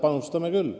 Panustame küll.